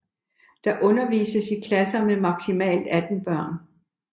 Der undervises i klasser med maksimalt 18 børn